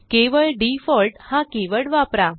केवळ डिफॉल्ट हा कीवर्ड वापरा